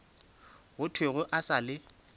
go thwego e sa le